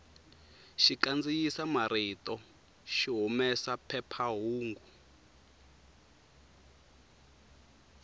xikandziyisa marito xi humesa phephahungu